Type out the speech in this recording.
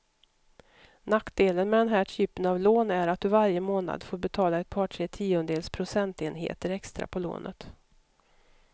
Nackdelen med den här typen av lån är att du varje månad får betala ett par, tre tiondels procentenheter extra på lånet.